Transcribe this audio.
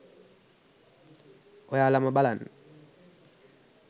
ඔයාලම බලන්න